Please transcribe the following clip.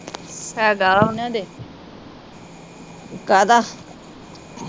ਹੇਗਾ ਵਾ ਨਾ ਏਦੇ